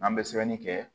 An bɛ sɛbɛnni kɛ